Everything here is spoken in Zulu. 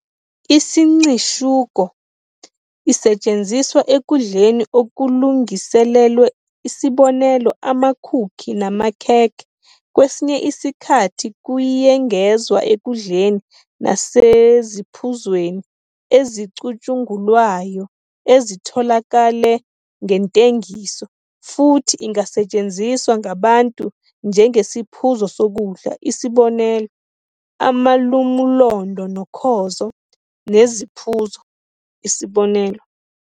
Isincishuko isetshenziswa ekudleni okulungiselelwe, isb. amakhukhi namakhekhe, kwesinye isikhathi kuyengezwa ekudleni naseziphuzweni ezicutshungulwayo ezitholakale ngentengiso, futhi ingasetshenziswa ngabantu njengesiphuzo sokudla, isb. amalumulondo nokhozo, neziphuzo isb.